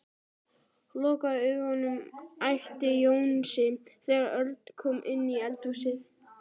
Lokaðu augunum æpti Jónsi þegar Örn kom inn í eldhúsið.